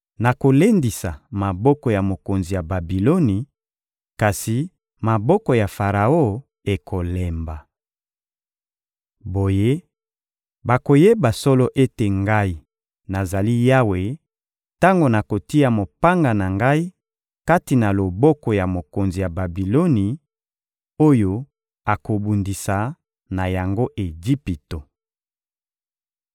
Nakolendisa maboko ya mokonzi ya Babiloni, kasi maboko ya Faraon ekolemba. Boye, bakoyeba solo ete Ngai, nazali Yawe, tango nakotia mopanga na Ngai kati na loboko ya mokonzi ya Babiloni, oyo akobundisa na yango Ejipito.